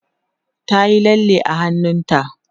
ta Yi lalle a hannunta